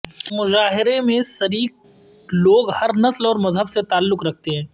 مظاہروں میں شریک لوگ ہر نسل اور مذہب سے تعلق رکھتے ہیں